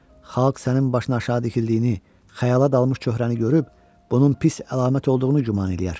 Xalq sənin başın aşağı tikildiyini, xəyala dalmış çöhrəni görüb bunun pis əlamət olduğunu güman eləyər.